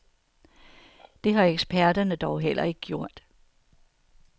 Det har eksperterne dog heller ikke gjort.